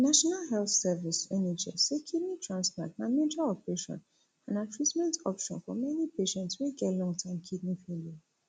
di national health service nhs say kidney transplant na major operation and na treatment option for many patients wey get longterm kidney failure